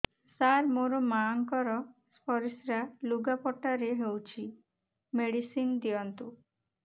ସାର ମୋର ମାଆଙ୍କର ପରିସ୍ରା ଲୁଗାପଟା ରେ ହଉଚି ମେଡିସିନ ଦିଅନ୍ତୁ